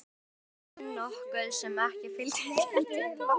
Vonin nokkuð sem ekki fylgdi þeim tíma.